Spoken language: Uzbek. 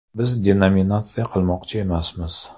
Biz denominatsiya qilmoqchi emasmiz.